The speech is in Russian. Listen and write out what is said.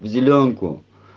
в зелёнку